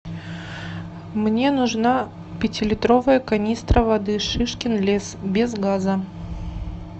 мне нужна пятилитровая канистра воды шишкин лес без газа